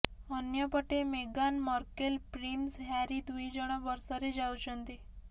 ଅନ୍ୟପଟେ ମେଗାନ Markle prince Harry ଦୁଇ ଜଣ ବର୍ଷାରେ ଯାଉଛନ୍ତି